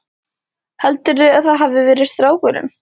Heldurðu að það hafi verið strákurinn?